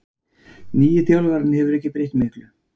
Nýi þjálfarinn hefur ekki breytt miklu